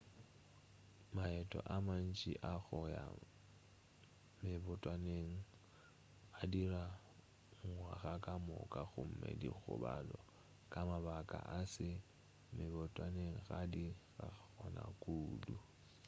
maeto a mantši a go ya mebotwaneng a dirwa ngwaga kamoka gomme dikgobalo ka mabaka a se mebotwaneng ga di gona kudu